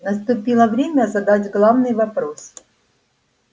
наступило время задать главный вопрос